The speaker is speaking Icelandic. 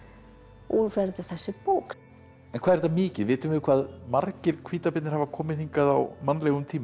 úr verður þessi bók en hvað er þetta mikið vitum við hvað margir hvítabirnir hafa komið hingað á mannlegum tíma